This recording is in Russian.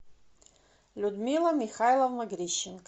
людмила михайловна грищенко